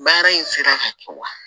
Baara in fɛnɛ ka kɛ wa